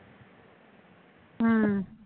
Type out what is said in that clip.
ਹੂੰ